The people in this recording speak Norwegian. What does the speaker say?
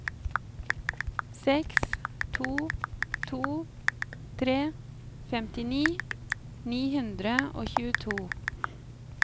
seks to to tre femtini ni hundre og tjueto